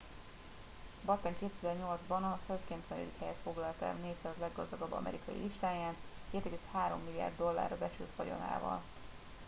batten 2008 ban a 190. helyet foglalta el a 400 leggazdagabb amerikai listáján 2,3 milliárd dollárra becsült vagyonával